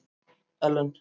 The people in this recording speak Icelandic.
Ellen